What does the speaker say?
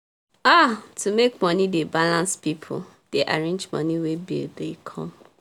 um to make money dey balance people dey arrange money when bill dey come